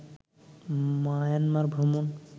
Myanmar ভ্রমণ